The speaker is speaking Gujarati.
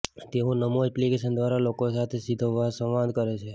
તેઓ નમો એપ્લિકેશન દ્વારા લોકો સાથે સીધો સંવાદ કરે છે